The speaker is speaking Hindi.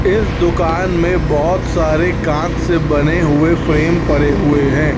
इस दुकान में बोहोत सारे कांच से बने हुए फ्रेम पड़े हुए हैं।